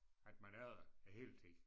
At man er der æ hele tid